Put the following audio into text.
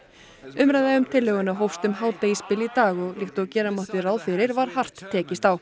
umræða um tillöguna hófst um hádegisbil í dag og líkt og gera mátti ráð fyrir var hart tekist á